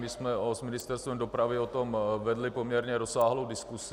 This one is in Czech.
My jsme s Ministerstvem dopravy o tom vedli poměrně rozsáhlou diskusi.